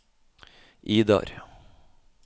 Idar